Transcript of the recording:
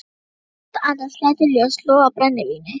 Hann sitt andans lætur ljós loga á brennivíni.